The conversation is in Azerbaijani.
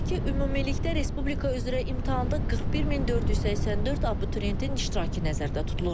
Qeyd edək ki, ümumilikdə Respublika üzrə imtahanda 41484 abituriyentin iştirakı nəzərdə tutulurdu.